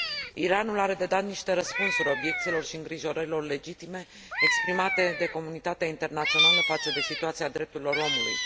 Iranul are de dat niște răspunsuri obiecțiilor și îngrijorărilor legitime exprimate de comunitatea internațională față de situația drepturilor omului.